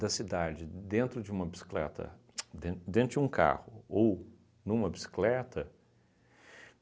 da cidade dentro de uma bicicleta, pts den dentro de um carro ou numa bicicleta.